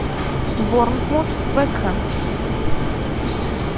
борнмут вест хэм